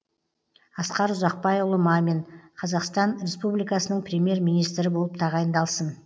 асқар ұзақбайұлы мамин қазақстан республикасының премьер министрі болып тағайындалсын